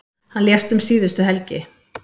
Hann lést um síðustu helgi.